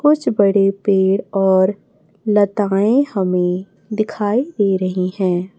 कुछ बड़े पेड़ और लताएं हमें दिखाई दे रही हैं।